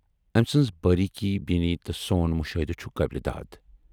ٲمۍ سٕنز باریٖک بیٖنی تہٕ سون مُشاہدٕ چھُ قٲبلِ داد۔